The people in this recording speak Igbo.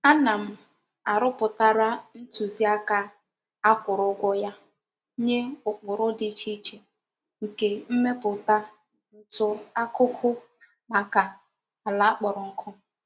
Ana m aroputara ntuzi aka a kwuru ugwo ya nye ukpuru di iche iche nke mmeputa ntù akuku maka ala kporo nku.